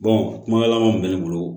kuma laban min bɛ ne bolo